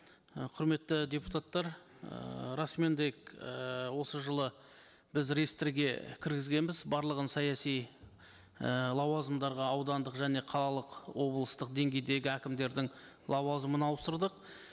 і құрметті депутаттар ыыы расымен де ііі осы жылы біз реестрге кіргізгенбіз барлығын саяси і лауазымдарға аудандық және қалалық облыстық деңгейдегі әкімдердің лауазымын ауыстырдық